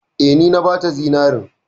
Eh, ni na bata zinarin.